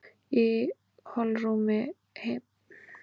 Í holrúmi beinanna er síðan svonefndur beinmergur.